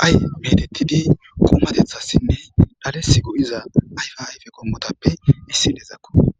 qay bedettidi qomatethassinne dhales go7iza ayfa ayfe qommotappe issi dezakko